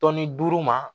Tɔnni duuru ma